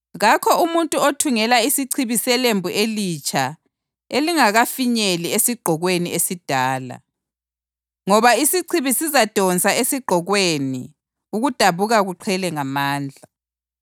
Kakho umuntu othungela isichibi selembu elitsha elingakafinyeli esigqokweni esidala, ngoba isichibi sizadonsa esigqokweni ukudabuka kuqhele ngamandla.